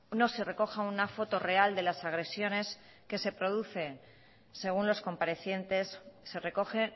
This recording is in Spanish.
no se recoja una foto real de las agresiones que se producen según los comparecientes se recoge